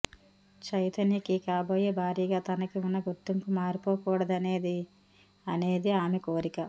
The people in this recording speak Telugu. చైతన్యకి కాబోయే భార్యగా తనకి వున్న గుర్తింపు మారిపోకూడదనేది అనేది ఆమె కోరిక